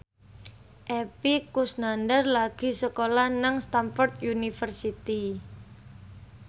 Epy Kusnandar lagi sekolah nang Stamford University